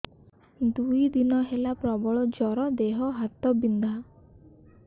ଦୁଇ ଦିନ ହେଲା ପ୍ରବଳ ଜର ଦେହ ହାତ ବିନ୍ଧା